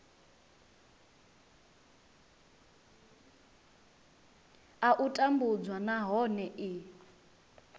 a u tambudzwa nahone i